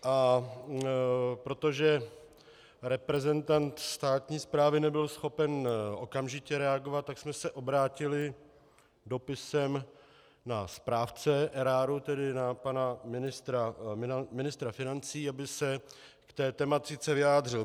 A protože reprezentant státní správy nebyl schopen okamžitě reagovat, tak jsme se obrátili dopisem na správce eráru, tedy na pana ministra financí, aby se k té tematice vyjádřil.